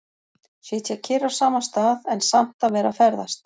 Sitja kyrr á sama stað, en samt að vera að ferðast.